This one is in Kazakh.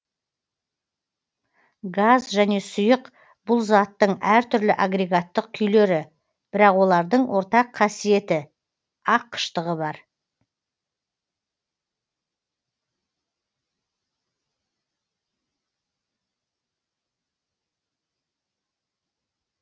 газ және сұйық бұл заттың әртүрлі агрегаттық күйлері бірақ олардың ортақ қасиеті аққыштығы бар